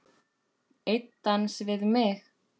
Einn dans við mig